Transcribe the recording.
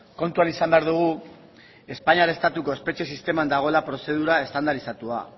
kontuan izan behar dugu espainiar estatuko espetxe sisteman dagoela prozedura estandarizatua